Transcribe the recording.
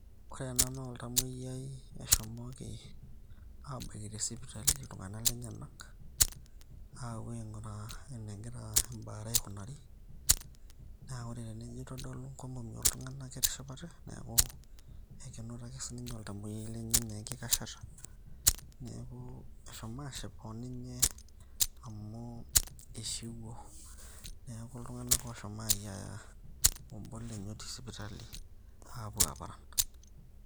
Ore ena naa oltamoyiai oshomoko abaki tesipitali iltung'anak lenyanak. Apuo aing'uraa enegira ebaare aikunari. Na ore enijo aitodolu inkomomi oltung'anak ketishipate, neeku kenoto ake si ninye oltamoyiai lenye enkikashata. Neeku eshomo ashipa oninye, amu ishiwuo. Neeku iltung'anak oshomo ayiaya obo lenye otii sipitali, aapuo aparan.